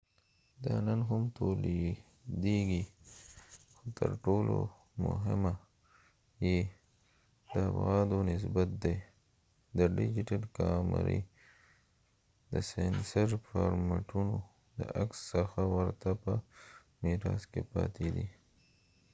دا نن هم تولیدیږي خو تر ټولو مهمه یې د ابعادو نسبت دی چې د ډیجیټل کامرې د سینسر فارمټونو د عکس څخه ورته په میراث کې پاتې دی